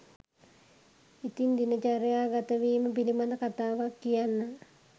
ඉතින් දින චර්යාගතවීම පිළිබඳ කතාවක් කියන්න